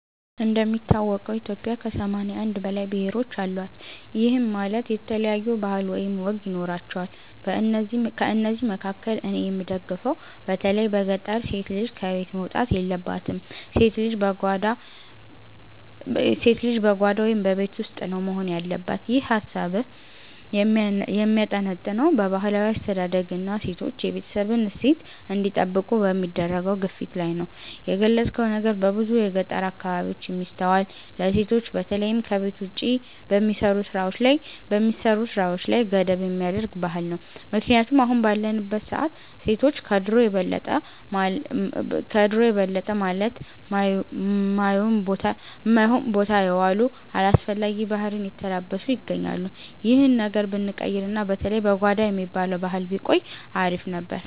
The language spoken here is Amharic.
እንደሚታወቀው ኢትዮጵያ ከ81 በላይ ብሔሮች አሏት፤ ይህም ማለት የተለያዩ ባህል ወይም ወግ ይኖራቸዋል። ከእነዚህ መካከል እኔ የምደግፈው በተለይ በገጠር ሴት ልጅ ከቤት መውጣት የለባትም፣ ሴት ልጅ በጓዳ (በቤት ውስጥ) ነው መሆን ያለባት። ይህ ሃሳብህ የሚያጠነጥነው በባህላዊ አስተዳደግና ሴቶች የቤተሰብን እሴት እንዲጠብቁ በሚደረገው ግፊት ላይ ነው። የገለጽከው ነገር በብዙ የገጠር አካባቢዎች የሚስተዋል፣ ለሴቶች በተለይም ከቤት ውጭ በሚሰሩ ስራዎች ላይ ገደብ የሚያደርግ ባህል ነው። ምክንያቱም አሁን ባለንበት ሰዓት ሴቶች ከድሮው የበለጠ ማለት ማዮን ቦታ የዋሉ፣ አላስፈላጊ ባህሪን የተላበሱ ይገኛሉ። ይህ ነገር ብንቀይርና በተለይ "በጓዳ" የሚባለው ባህል ቢቆይ አሪፍ ነበር።